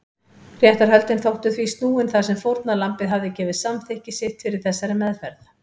Réttarhöldin þóttu því snúin þar sem fórnarlambið hafði gefið samþykki sitt fyrir þessari meðferð.